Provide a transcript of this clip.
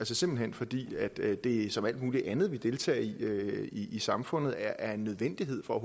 simpelt hen fordi det som alt muligt andet vi deltager i i samfundet er en nødvendighed for